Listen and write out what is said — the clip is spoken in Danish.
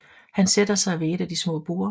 Han sætter sig ved et af de små borde